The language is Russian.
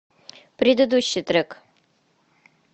предыдущий трек